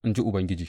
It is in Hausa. in ji Ubangiji.